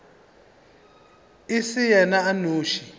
e se yena a nnoši